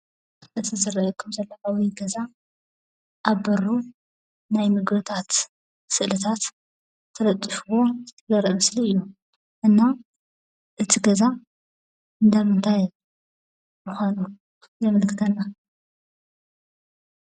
እቲ ዝርአየኩም ዘሎ ዓብዪ ገዛ ኣብ በሩ ናይ ምግብታት ስእልታት ተለጢፍዎ ዘርኢ ምስሊ እዩ፡፡ እና እቲ ገዛ እንዳ ምንታይ እዩ?